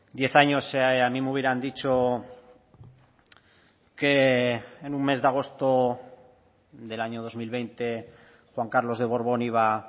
diez años a mí me hubieran dicho que en un mes de agosto del año dos mil veinte juan carlos de borbón iba